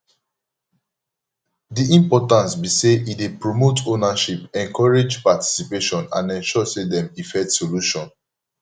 di importance be say e dey promote ownership encourage participation and ensure say dem effect solution